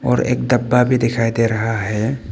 और एक डब्बा भी दिखाई दे रहा है।